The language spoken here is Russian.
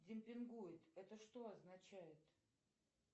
демпингует это что означает